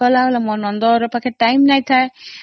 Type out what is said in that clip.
ମୋ ନଣନ୍ଦ ପାଖରେ time ନଥିଲା